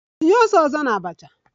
Tinye ose ọzọ na abacha!